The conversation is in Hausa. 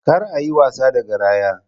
Kar a yi wasa da garaya!